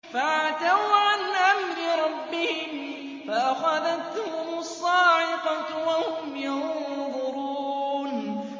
فَعَتَوْا عَنْ أَمْرِ رَبِّهِمْ فَأَخَذَتْهُمُ الصَّاعِقَةُ وَهُمْ يَنظُرُونَ